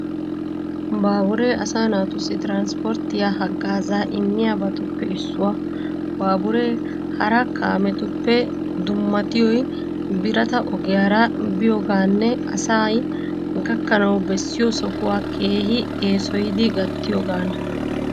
Baaburee, asaa naatussi tiranspporttiyaa haggaazaa immiyabatuppe issuwa. Baaburee hara kaametuppe dummattiyoy birata ogiyaara biyoogaanne asay gakkanawu bessiyoo sohuwa keehi eesoyidi gattiyogaana.